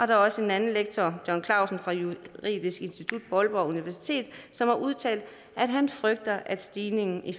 er også en anden lektor john klausen fra juridisk institut på aalborg universitet som har udtalt at han frygter at stigningen i